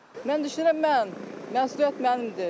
Mən düşünürəm mən, məsuliyyət mənimdir.